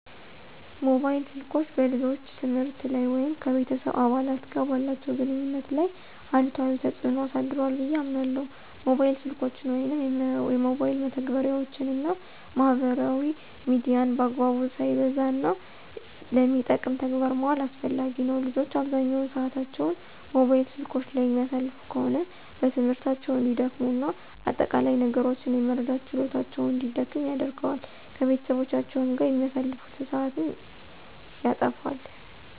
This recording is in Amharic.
ሞባይል ስልኮች በልጆች የትምህርት ላይ ወይም ከቤተሰብ አባላት ጋር ባላቸው ግንኙነት ላይ አሉታዊ ተጽዕኖ አሳድሯ ብየ አምናለሁ። ሞባይል ስልኮችን ወይም የሞባይል መተግበሪያወችን እና ማህበራዊ ሚዲያን በአግባቡ፣ ሳይበዛ፣ እና ለሚጠቅም ተግባር ማዋል አስፈላጊ ነው። ልጆች አብዛኛውን ሰአታቸውን ሞባይል ስልኮች ላይ የሚያሳልፉ ከሆነ በትምህርታቸው እንዲደክሙ እና አጠቃላይ ነገሮችን የመረዳት ችሎታቸውን እንዲደክም ያደርገዋል። ከቤተሰቦቻቸው ጋር የሚያሳልፉትን ሰአትም ያተፋል።